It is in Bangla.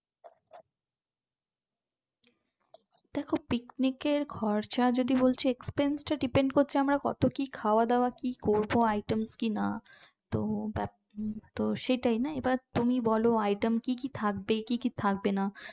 picnic এর খরচা যদি বলছি expense টা depend করছে আমরা কত কি খাওয়া-দাওয়া করব কি item কিনা তো সেটাই না এবার তুমি বলো item কি কি থাকবে কি কি থাকবে না